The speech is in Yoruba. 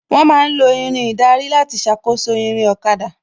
Wón ma ń lo Irin ìdarí láti ṣàkóso ìrìn ọ̀kada